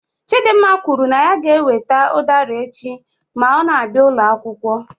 Chidimma kwuru na ya ga-ewete udara echi ma ọ na-abịa ụlọ akwụkwọ.